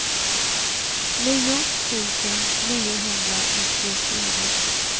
nio tusen niohundranittiofyra